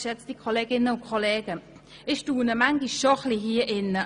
Ich staune manchmal schon hier drin.